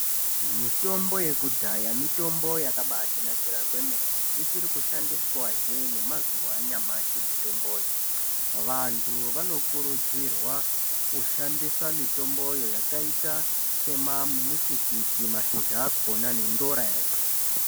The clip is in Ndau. Mutombo yekudhaya mutombo yakatinakira kwemene ichiri kushandiswa he nemazuwa anyamashi mutomboyo vantu vanokurudzirwa kushandisa mutomboyo yakaita semutikiti mashizha akona nendora yacho.